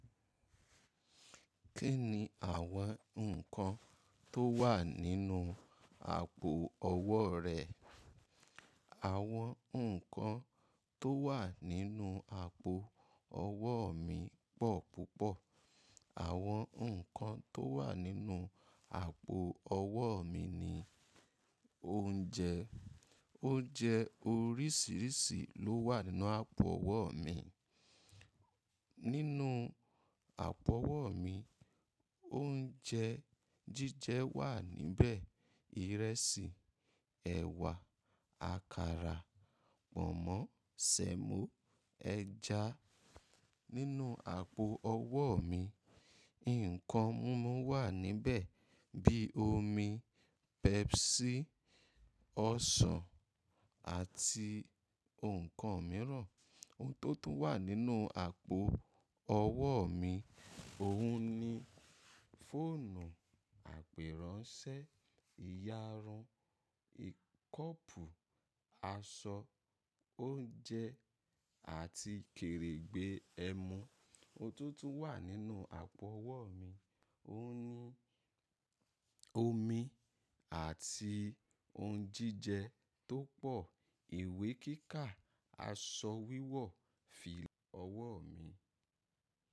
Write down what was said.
Kí ni àwọn nǹkan tó wà nínú àpò ọwọ́ rẹ? Àwọn nǹkan tó wà nínú àpò ọwọ́ mi pọ̀ púpọ̀. Àwọn nǹkan tó wà nínú àpò ọwọ́ mi ni oúnjẹ. Oúnjẹ oríṣiríṣi ló wà nínú àpò ọwọ́ mi. Nínú àpò ọwọ́ mi, oúnjẹ jíjẹ wà níbẹ̀. Ìrẹsì, ẹ̀wà, àkàrà, pọ̀nmọ́, semo, ẹja. Nínú àpò ọwọ́ mi, nǹkan mímu wà níbẹ̀ bíi omi, Pepsi, ọsàn àti nǹkan mìíràn. Ohun tó tún wà nínú àpò ọwọ́ mi, òun ni fóònù, àpérànṣẹ, ìyarun, kọ́pù, aṣọ, oúnjẹ àti kèrègbè ẹmu. Ohun tó tún wà nínú àpò ọwọ́ mi, òun ni omi àti ohun jíjẹ tó pọ̀, ìwé kíkà, aṣọ wíwọ̀, fìlà. Ọwọ́ mi.